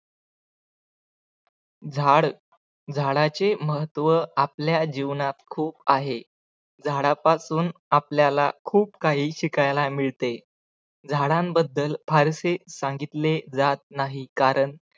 झाड झाडाचे महत्व आपल्या जीवनात खूप आहे. झाडापासून आपल्याला खूप काही शिकायला मिळते. झाडांबद्दल फारसे सांगितले जात नाही, कारण